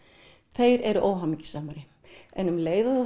þeir eru óhamingjusamari en um leið og þú